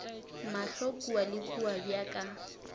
mahlo kua le kua bjaka